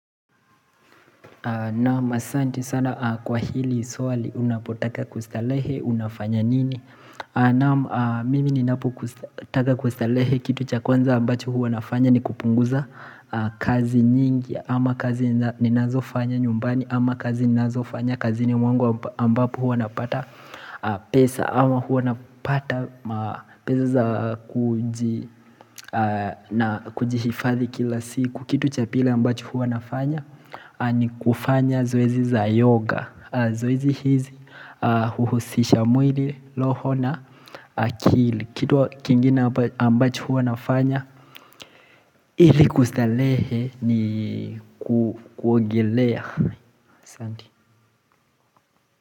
Naam asanti sana kwa hili suali unapotaka kustalehe unafanya nini Naam mimi ninapotaka kustalehe kitu cha kwanza ambacho huwa nafanya ni kupunguza kazi nyingi ama kazi ninazo fanya nyumbani ama kazi ninazo fanya kazi ni mwangu ambapo huwa napata pesa ama hua napata pesa za kuji na kuji hifadhi kila siku Kitu cha pili ambacho hua nafanya ni kufanya zoezi za yoga Zoezi hizi husisha mwili Loho na akili Kitu wa kingine ambacho huwa nafanya ili kustalehe ni kuogelea asanti.